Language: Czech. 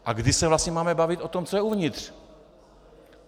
A kdy se vlastně máme bavit o tom, co je uvnitř?